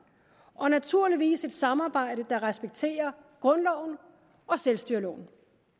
og naturligvis et samarbejde der respekterer grundloven og selvstyreloven